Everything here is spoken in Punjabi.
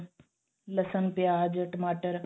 ਲਸਣ ਪਿਆਜ ਟਮਾਟਰ